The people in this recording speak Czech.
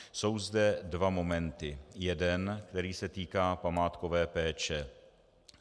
Jsou zde dva momenty - jeden, který se týká památkové péče.